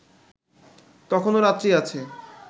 তখনও রাত্রি আছে